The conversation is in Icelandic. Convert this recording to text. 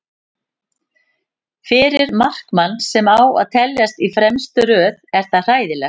Fyrir markmann sem á að teljast í fremstu röð er það hræðilegt.